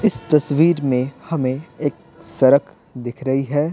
इस तस्वीर में हमें एक सड़क दिख रही है।